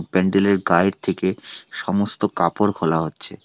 প্যান্ডেল এর গায়ের থেকে সমস্ত কাপড় খোলা হচ্ছে।